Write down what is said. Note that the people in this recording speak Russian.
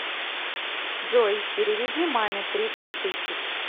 джой переведи маме тридцать тысяч